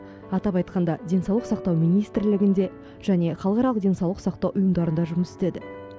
атап айтқанда денсаулық сақтау министрлігінде және халықаралық денсаулық сақтау ұйымдарында жұмыс істеді